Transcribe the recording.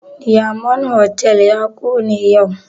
Diyamond hotal ya kone yau